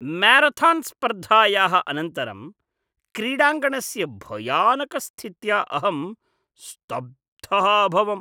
म्यारथान्स्पर्धायाः अनन्तरं क्रीडाङ्गणस्य भयानकस्थित्या अहं स्तब्धः अभवम्।